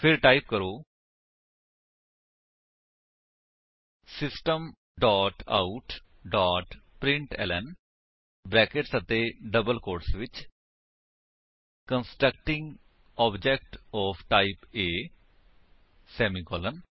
ਫਿਰ ਟਾਈਪ ਕਰੋ system dot out dot println brackets ਅਤੇ ਡਬਲ ਕੋਟਸ ਵਿੱਚ constructing object of type A semicolon